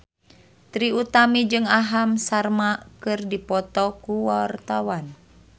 Trie Utami jeung Aham Sharma keur dipoto ku wartawan